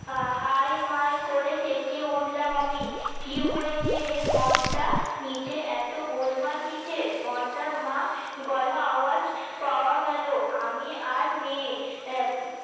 high মাই করে চেচিয়ে উঠলাম আমি কি হয়েছে রে ঘন্টা নীচে এত গোলমাল কিসের ঘন্টার মা গলা আওয়াজ পাওয়া গেলো আমি আর নেই